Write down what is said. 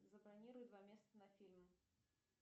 забронируй два места на фильм